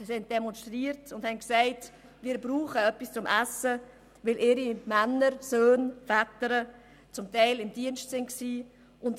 Sie demonstrierten und sagten, sie bräuchten etwas zu essen, weil ihre Männer, Söhne und Väter teilweise im Militärdienst waren.